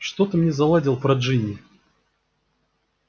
что ты мне заладил про джинни